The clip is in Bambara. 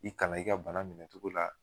I kalan i ka bana minɛ cogo la